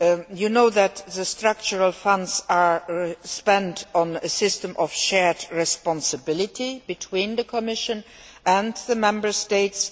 You know that the Structural Funds are spent on a system of shared responsibility between the Commission and the Member States.